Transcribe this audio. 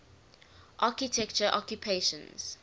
architecture occupations